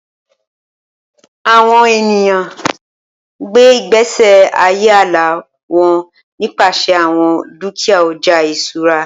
Awọn eniyan n gbe igbesi aye ala wọn nipasẹ awọn dukia ọja iṣura